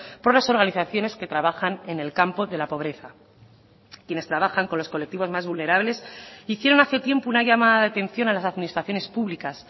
por las organizaciones que trabajan en el campo de la pobreza quienes trabajan con los colectivos más vulnerables hicieron hace tiempo una llamada de atención a las administraciones públicas